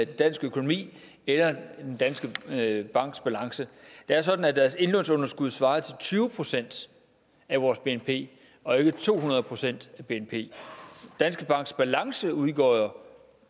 dansk økonomi eller danske banks balance det er sådan at deres indlånsunderskud svarer til tyve procent af vores bnp og ikke to hundrede procent af bnp danske banks balance udgjorde